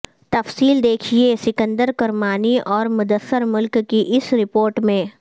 تفصیل دیکھیے سکندر کرمانی اور مدثر ملک کی اس رپورٹ میں